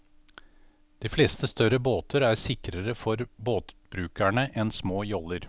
De fleste større båter er sikrere for båtbrukerne enn små joller.